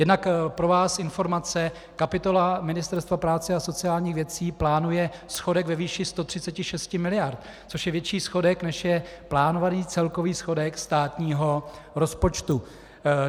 Jednak pro vás informace, kapitola Ministerstva práce a sociálních věcí plánuje schodek ve výši 136 mld., což je větší schodek, než je plánovaný celkový schodek státního rozpočtu.